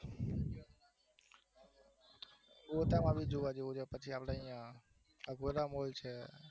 ગોતાવાળું જોવા જેવું છે અઘોરા મોલ છે